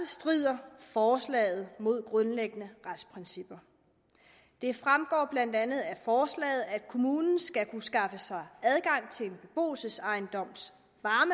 strider forslaget mod grundlæggende retsprincipper det fremgår blandt andet af forslaget at kommunen skal kunne skaffe sig adgang til en beboelsesejendoms